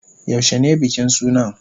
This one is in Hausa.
Yaushe ne bikin sunan?